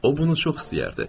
O bunu çox istəyərdi.